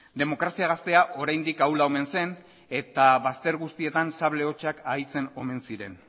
demokrazia gaztea oraindik ahula omen zen eta bazter guztietan sable hotsak aditzen omen ziren